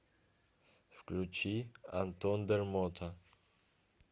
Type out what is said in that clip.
включи антон дермота